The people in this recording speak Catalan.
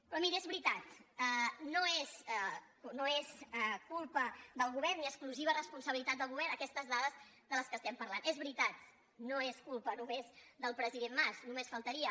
però miri és veritat no són culpa del govern ni exclusiva responsabilitat del govern aquestes dades de què estem parlant és veritat no és culpa només del president mas només faltaria